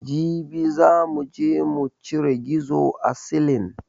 Jibi za muje mucire gizo a silin